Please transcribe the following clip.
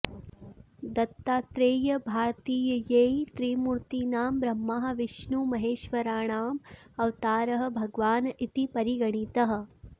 दत्तात्रेयः भारतीययैः त्रिमूर्तिनां ब्रह्माविष्णुमहेश्वराणाम् अवतारः भगवान् इति परिगणितः